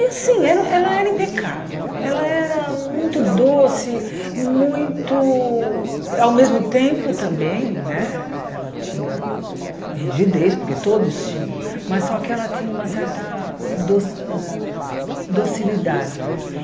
E assim, ela ela era impecável, ela era muito doce, muito... Ao mesmo tempo também né, ela tinha rigidez, porque todos tinham, mas só que ela tinha uma certa doci ah docilidade, eu acho.